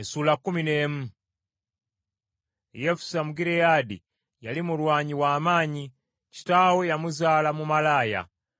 Yefusa Omugireyaadi yali mulwanyi w’amaanyi; kitaawe yamuzaala mu malaaya.